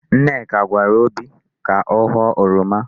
Nneka gwara obi ka ọ ghọọ oroma.